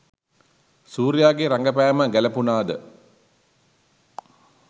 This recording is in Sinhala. සූර්යාගේ රඟපෑම ගැළපුණාද?